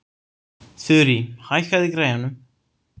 Þurí, hækkaðu í græjunum.